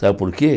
Sabe por quê?